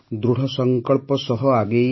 ଦୃଢ଼ ସଂକଳ୍ପ ସହ ଆଗେଇ